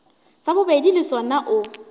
sa bobedi le sona o